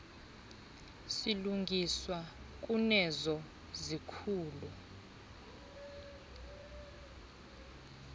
silungiswa kunezo zikhulu